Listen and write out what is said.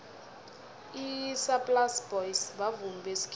isaplasi boys bavumi besikhethu